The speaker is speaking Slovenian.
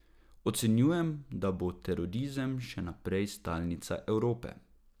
Ocenjujem, da bo terorizem še naprej stalnica Evrope.